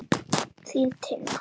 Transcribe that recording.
Þín, Tinna.